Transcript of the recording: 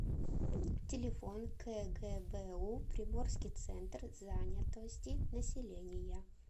телефон кгбу приморский центр занятости населения